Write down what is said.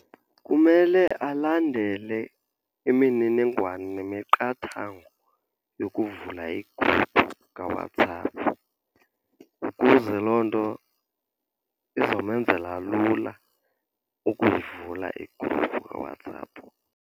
Kumele alandele imininingwane nemiqathango yokuvula igruphu kaWhatsApp, ukuze loo nto izomenzela lula ukuyivula igruphu kaWhatsApp.